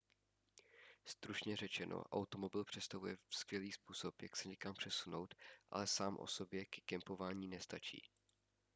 stručně řečeno automobil představuje skvělý způsob jak se někam přesunout ale sám o sobě ke kempování nestačí